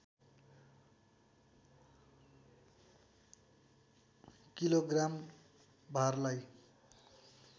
kilo gram भारलाई